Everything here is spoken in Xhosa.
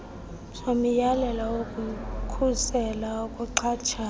somyalelo wokukhusela ukuxhatshazwa